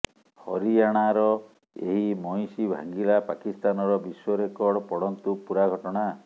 ହରିୟାଣାର ଏହି ମଇଁଷି ଭାଙ୍ଗିଲା ପାକିସ୍ତାନର ବିଶ୍ୱ ରେକର୍ଡ ପଢନ୍ତୁ ପୁରା ଘଟଣା